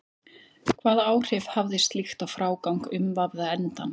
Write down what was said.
Hvaða áhrif hafði slíkt á frágang umvafða endans?